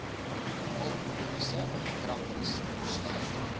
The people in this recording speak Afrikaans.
alkoholiese drankies sluit